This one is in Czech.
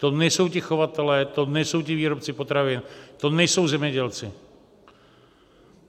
To nejsou ti chovatelé, to nejsou ti výrobci potravin, to nejsou zemědělci.